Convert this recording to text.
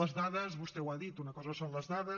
les dades vostè ho ha dit una cosa són les dades